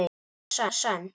Hún er líka sönn.